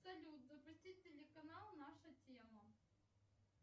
салют запустить телеканал наша тема